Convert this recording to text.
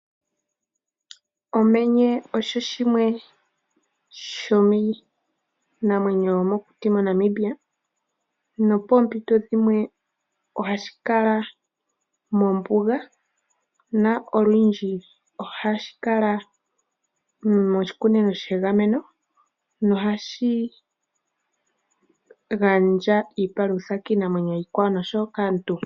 Omenye osho shimwe sho miinamwenyo yomokuti moNamibia, nopoompito dhimwe oha shi kala mombuga na olundji oha shi kala moshikunino shegameno, nohashi gandja iipalutha kiinamwenyo iikwawo nosho wo kaantu.